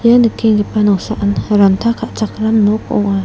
ia nikenggipa noksaan ranta ka·chakram nok ong·a.